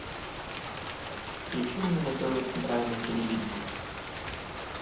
включи мне на тв центральное телевидение